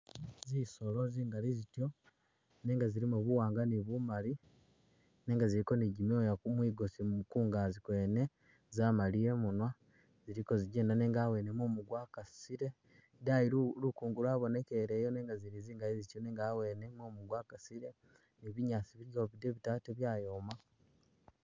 Zisolo zingali zityo nenga zilimo buwanga ni bumali nega ziliko ni gimyooya mwigosi kungazi kwene zamaliya imunwa ziliko zijenda nenga hawene mumu gwakasile idayi lukungu lwabonekeleyo nega zili zingali zityo nenga hawene mumu gwakasile ni binyasi biligwo bidebiti atee byayoma